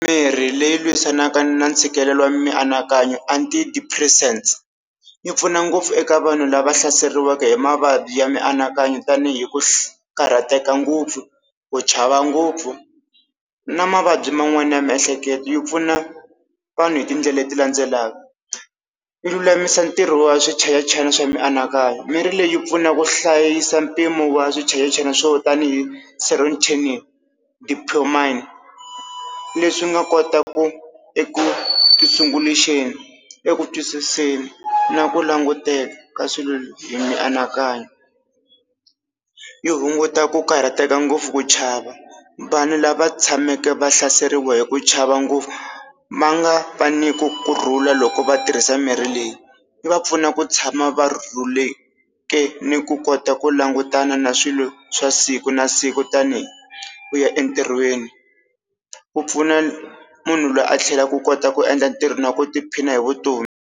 mirhi leyi lwisanaka na ntshikelelo wa mianakanyo Antidepressant, yi pfuna ngopfu eka vanhu lava hlaseriwaka hi mavabyi ya mianakanyo tani hi ku karhateka ngopfu, ku chava ngopfu na mavabyi man'wani ya miehleketo yi pfuna vanhu hi tindlela leti landzelaka. Yi lulamisa ntirho wa swichayachayani swa mianakanyo, mirhi leyi pfuna ku hlayisa mpimo wa swichayachayani swo tanihi serotonin, dopamine leswi swi nga kotaka ku, eku eku twisiseni na ku languteka ka swilo hi mianakanyo. Yi hunguta ku karhateka ngopfu ku chava, vanhu lava tshameke va hlaseriwa hi ku chava ngopfu ma nga va ni kurhula loko va tirhisa mirhi leyi, yi va pfuna ku tshama va rhuleke ni ku kota ku langutana na swilo swa siku na siku tani hi ku ya entirhweni, ku pfuna munhu loyi a tlhela ku kota ku endla ntirho na ku tiphina hi vutomi.